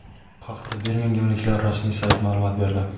Bu haqda birmingemliklar rasmiy sayti ma’lumot berdi.